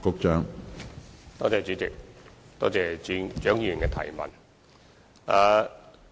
主席，多謝蔣議員的質詢。